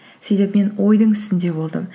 сөйтіп мен ойдың үстінде болдым